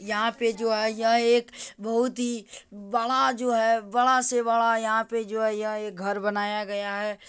यहाँ पे जो है यह एक बहुत ही बड़ा जो है बड़ा से बड़ा यहाँ पे जो है यह एक घर बनाया गया है।